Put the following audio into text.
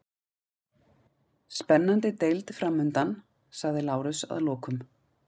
Spennandi deild framundan, sagði Lárus að lokum.